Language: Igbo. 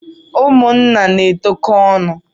Ụmụnna na-etokọ ọnụ.